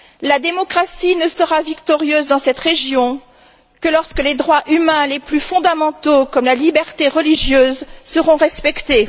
La démocratie ne sera victorieuse dans cette région que lorsque les droits humains les plus fondamentaux, comme la liberté religieuse, seront respectés.